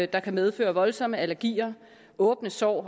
der kan medføre voldsomme allergier og åbne sår og